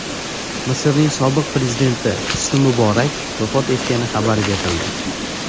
Misrning sobiq prezidenti Husni Muborak vafot etgani xabar berildi.